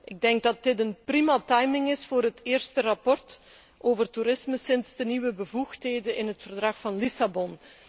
Ik denk dat dit een prima timing is voor het eerste verslag over toerisme sinds de nieuwe bevoegdheden in het Verdrag van Lissabon.